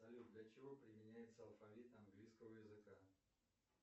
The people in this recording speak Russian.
салют для чего применяется алфавит английского языка